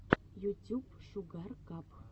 ютюб шугар кап